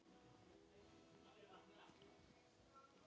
Gunnar Atli: Í ágúst?